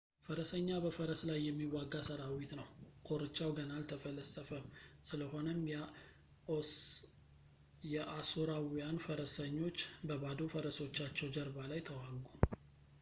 ፈረሰኛ በፈረስ ላይ የሚዋጋ ሰራዊት ነው ኮርቻው ገና አልተፈለሰፈም ስለሆነም የአሦራውያን ፈረሰኞች በባዶ ፈረሶቻቸው ጀርባ ላይ ተዋጉ